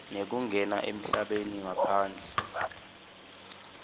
nekungena emhlabeni ngaphandle